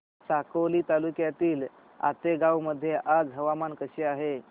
साकोली तालुक्यातील आतेगाव मध्ये आज हवामान कसे आहे